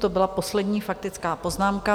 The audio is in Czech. To byla poslední faktická poznámka.